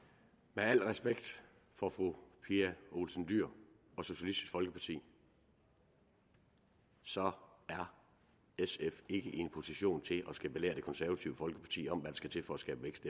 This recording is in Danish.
med al respekt for fru pia olsen dyhr fra socialistisk folkeparti så er sf ikke i en position til at skulle belære det konservative folkeparti om hvad der skal til for at skabe vækst